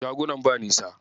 Shagunan ba nisa.